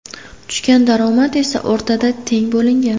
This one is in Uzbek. Tushgan daromad esa o‘rtada teng bo‘lingan.